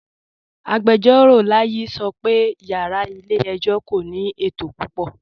Agbẹjọro Layi sọ́ pẹ̀ yàrá ilẹ̀-ẹ̀jọ̀ kò ní ètò púpọ̀.